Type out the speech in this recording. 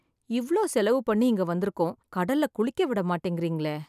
இவ்ளோ செலவு பண்ணி இங்க வந்திருக்கோம், கடல்ல குளிக்க விட மாட்டேங்கிறீங்களே